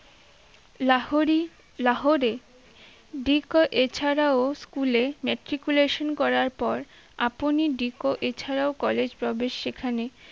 লাহোরী লাহোরে decco এছাড়াও school এ matriculation করার পর আপনি decco এছাড়ও college প্রবেশ সেখানে